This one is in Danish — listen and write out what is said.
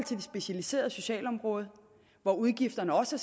specialiserede socialområde hvor udgifterne også